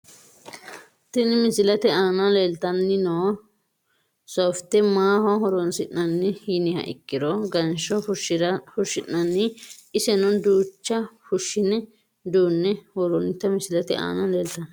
Tini misilete Ana leltanii noo soofte maaho horonsinani yiniha ikiro gansho fushinani iseno duucha fushine duune woronita misilete aana leltano.